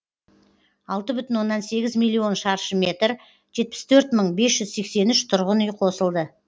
алты бүтін оннан сегіз миллион шаршы метр жетпіс төрт мың бес жүз сексен үш тұрғын үй қосылды